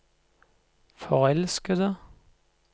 forelskede